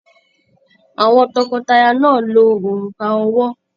Àwọn tọkọtaya náà lo òrùka ọwọ́.